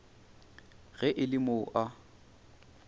ge e le mo a